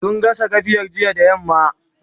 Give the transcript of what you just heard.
sun gasa gafiya jiya da yamma